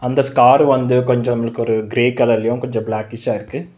இந்த ஸ்கார் வந்து கொஞ்ச நமலுக்கொரு கிரே கலர்லயு கொஞ்ச பிளேக்கிஷ்ஷா இருக்கு.